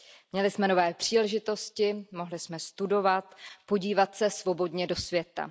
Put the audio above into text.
Měli jsme nové příležitosti, mohli jsme studovat, podívat se svobodně do světa.